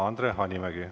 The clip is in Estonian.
Andre Hanimägi.